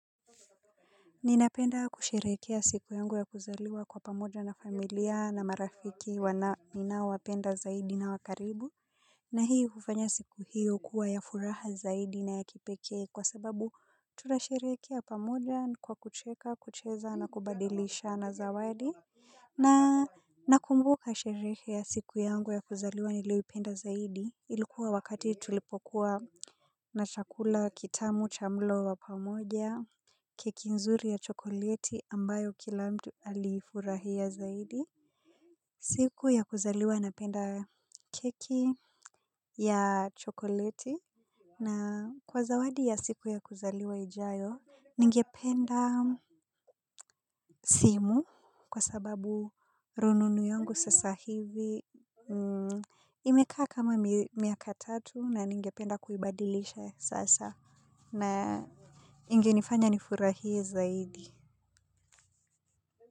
Ninapenda kusherekea siku yangu ya kuzaliwa kwa pamoja na familia na marafiki wana mina wapenda zaidi na wakaribu. Na hii ufanya siku hiyo kuwa ya furaha zaidi na ya kipekee kwa sababu tunasherekea pamoja kwa kucheka kucheza na kubadilishana zawadi. Na nakumbuka shere ya siku yangu ya kuzaliwa niliowipenda zaidi ilikuwa wakati tulipokuwa na chakula kitamu cha mlo wapamoja keki nzuri ya chokolieti ambayo kila mtu alifurahia zaidi. Siku ya kuzaliwa napenda keki ya chokoleti na kwa zawadi ya siku ya kuzaliwa ijayo ningependa simu kwa sababu rununu yungu sasa hivi imekaa kama miaka tatu na ningependa kuibadilisha sasa na ingenifanya nifurahia zaidi.